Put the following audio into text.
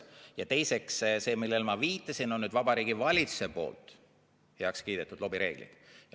Ja teiseks: see, millele ma viitasin, on Vabariigi Valitsuse poolt heaks kiidetud lobireeglid.